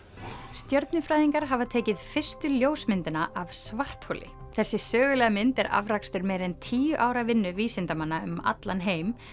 stjörnufræðingar hafa tekið fyrstu ljósmyndina af svartholi þessi sögulega mynd er afrakstur meira en tíu ára vinnu vísindamanna um allan heim